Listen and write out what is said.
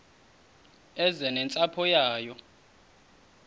eze nentsapho yayo